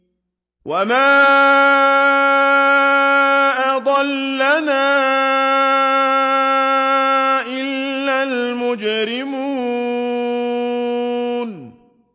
وَمَا أَضَلَّنَا إِلَّا الْمُجْرِمُونَ